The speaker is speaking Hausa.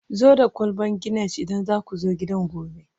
zo da kwalbar Guinness idan za ku zo gidan gobe